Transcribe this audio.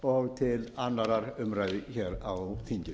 og til annarrar umræðu á þinginu